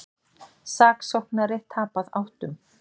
Saksóknari tapað áttum